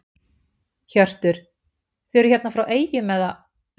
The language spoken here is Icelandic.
Hjörtur: Þið eruð hérna frá eyjum eða?